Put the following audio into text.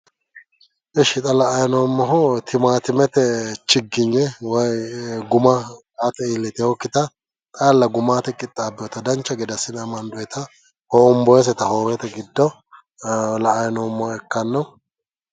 esh xa la"ayi noommohu imaatimete chiginye woyi guma aate iillitewookkita xaalla guma aate qixxaabbeewoota dancha gede assine amandooyiita hoombooyiiseta hoowete giddo la'ayi noommoha ikkanno.